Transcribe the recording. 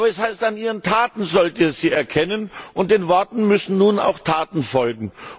Aber es heißt, an ihren Taten sollt ihr sie erkennen, und den Worten müssen nun auch Taten folgen.